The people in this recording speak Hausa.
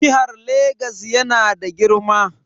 Jihar Lagos yana da girma.